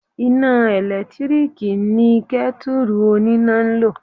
Iná ẹ̀lẹ́tíríkì ni Kẹ́tùrù oníná ń lò